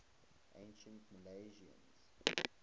ancient milesians